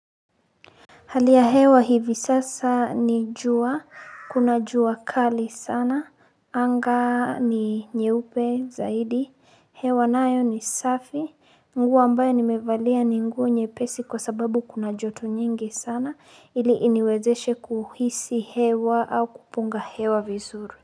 Hali ya hewa hivi sasa ni jua. Kuna jua kali sana. Anga ni nyeupe zaidi. Hewa nayo ni safi. Nguo ambayo nimevalia ni nguo nyepesi kwa sababu kuna joto nyingi sana. Ili iniwezeshe kuhisi hewa au kupunga hewa vizuri.